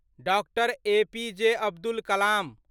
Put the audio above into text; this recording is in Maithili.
doctor APJ Abdul Kalam